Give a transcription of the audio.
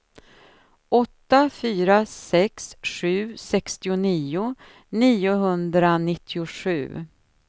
åtta fyra sex sju sextionio niohundranittiosju